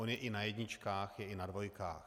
On je i na jedničkách, je i na dvojkách.